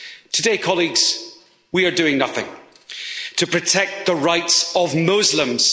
Today, colleagues, we are doing nothing to protect the rights of Muslims.